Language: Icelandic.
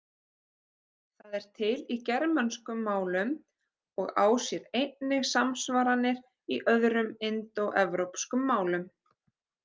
Það er til í germönskum málum og á sér einnig samsvaranir í öðrum indóevrópskum málum.